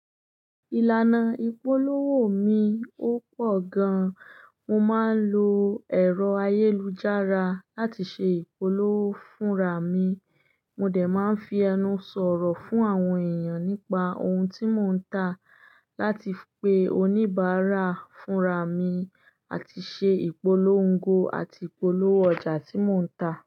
Ìlànà ìpolówó mi ò pọ̀ gan. Mo máa ń lo ẹ̀rọ ayélujára láti ṣe ìpolówó fúnra mi. Mo dẹ̀ máa ń fi ẹnu sọ̀rọ̀ fún àwọn èèyàn nípa ohun tí mò ń tà láti pe oníbàárà fúnra mi àti ṣe ìpolongo àti ìpolówó ọjà tí mò ń tà.